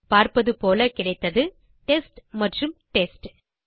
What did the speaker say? பார்ப்பது போல கிடைத்தது டெஸ்ட் மற்றும் டெஸ்ட்